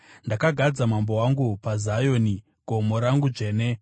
“Ndakagadza Mambo wangu paZioni, gomo rangu dzvene.”